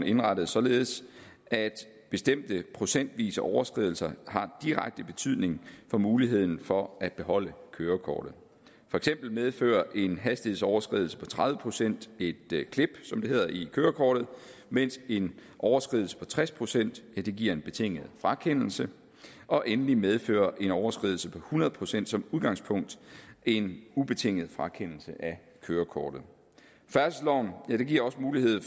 indrettet således at bestemte procentvise overskridelser har direkte betydning for muligheden for at beholde kørekortet for eksempel medfører en hastighedsoverskridelse på tredive procent et klip som det hedder i kørekortet mens en overskridelse på tres procent giver en betinget frakendelse og endelig medfører en overskridelse på hundrede procent som udgangspunkt en ubetinget frakendelse af kørekortet færdselsloven giver også mulighed